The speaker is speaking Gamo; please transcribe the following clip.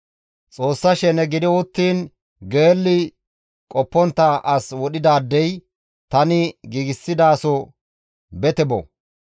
Xoossa shene gidi uttiin qoppontta dishe as wodhidaadey tani giigsidaso bete bo.